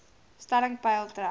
stelling peil trek